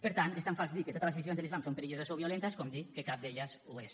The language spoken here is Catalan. per tant és tan fals dir que totes les visions de l’islam són perilloses o violentes com dir que cap d’elles ho és